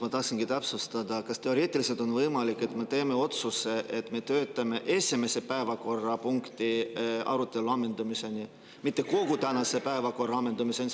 Ma tahtsin täpsustada, kas teoreetiliselt on võimalik, et me teeme otsuse töötada esimese päevakorrapunkti arutelu ammendumiseni, mitte kogu tänase päevakorra ammendumiseni.